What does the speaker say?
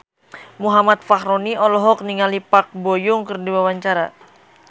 Muhammad Fachroni olohok ningali Park Bo Yung keur diwawancara